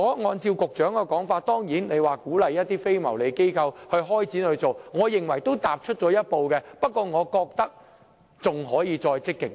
按照局長的說法，當局會鼓勵一些非牟利機構開展這方面的工作，我認為這已算是踏出了一步，但我認為當局還可以再積極一點。